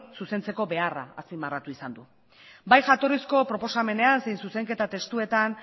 zuzentzeko beharra azpimarratu izan du bai jatorrizko proposamenean zein zuzenketa testuetan